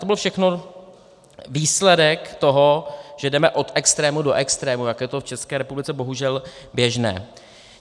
To byl všechno výsledek toho, že jdeme od extrému do extrému, jak je to v České republice bohužel běžné.